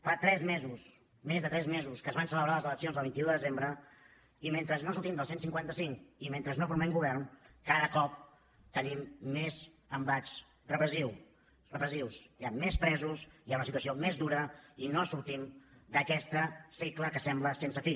fa tres mesos més de tres mesos que es van celebrar les eleccions del vint un de desembre i mentre no sortim del cent i cinquanta cinc i mentre no formem govern cada cop tenim més embats repressius hi ha més presos hi ha una situació més dura i no sortim d’aquest cicle que sembla sense fi